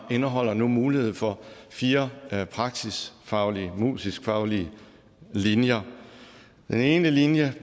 indeholder nu mulighed for fire praksisfaglige og musiskfaglige linjer den ene linje